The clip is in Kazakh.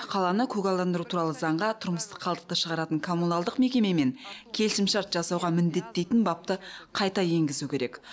қаланы көгалдандыру туралы заңға тұрмыстық қалдықты шығаратын коммуналдық мекемемен келісімшарт жасауға міндеттейтін бапты қайта енгізу керек